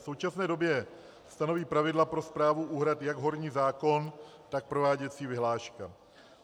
V současné době stanoví pravidla pro správu úhrad jak horní zákon, tak prováděcí vyhláška.